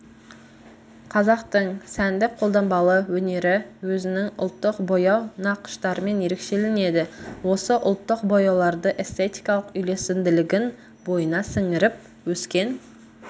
қазақтың сәндік-қолданбалы өнері өзінің ұлттық бояу нақыштарымен ерекшеленеді осы ұлттық бояуларды эстетикалық үйлесімділігін бойына сіңіріп өскен